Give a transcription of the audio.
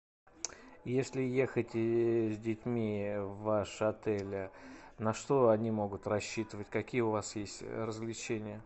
если ехать с детьми в ваш отель на что они могут рассчитывать какие у вас есть развлечения